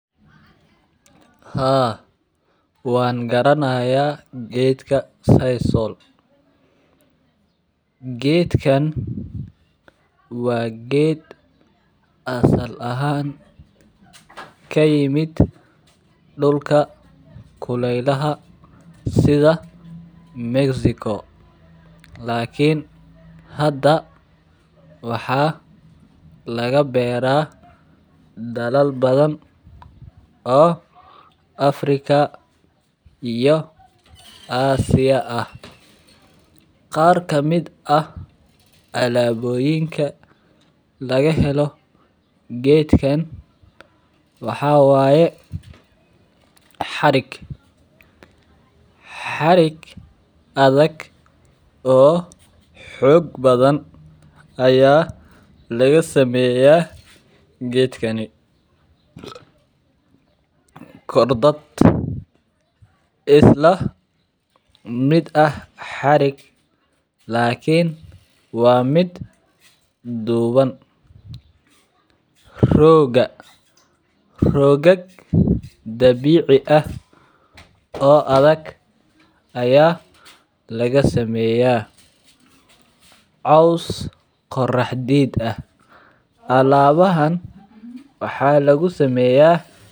Haa, wangaranaya geedka sisal. Geedkan waa geed asal ahaan kaimid dulka kuleelaha sidha Mexico lakin hada waxaa lagabeeri Dalal badan oo Africa iyo Asia ah. Qaar kamid ah alaaboyinka lagahelo geedkan waxaa waye xarig. Xarig adhag oo xoog badhan ayaa lagasameeya gedkan. Kor dad islamid ah xarig lakin waa mid duuban rooga. Roogag dabiici ah oo adhag ayaa lagasameeya coows qoraxdiid ah. Alaabahan waxaa lagusameeya...